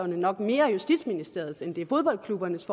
nok mere er justitsministeriets end det er fodboldklubbernes